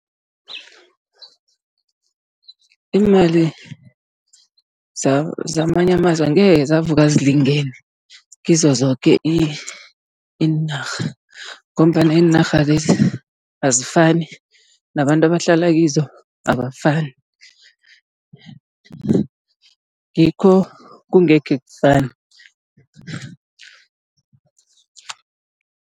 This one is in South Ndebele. Iimali zamanye amazwe angekhe zavuka zilingene kizo zoke iinarha, ngombana iinarha lezi azifani nabantu abahlala kizo abafani, ngikho kungekhe kufane.